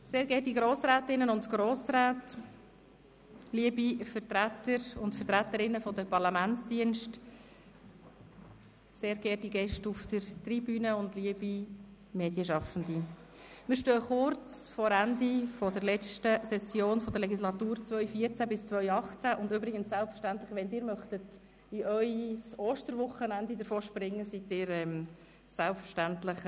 Sehr geehrte Grossrätinnen und Grossräte, liebe Vertreter und Vertreterinnen der Parlamentsdienste, sehr geehrte Gäste auf der Tribüne und liebe Medienschaffende, wir stehen kurz vor dem Ende der letzten Session der Legislatur 2014–2018, und selbstverständlich, wenn Sie in Ihr Osterwochenende davonspringen wollen, sind Sie selbstverständlich frei.